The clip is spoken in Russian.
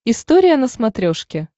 история на смотрешке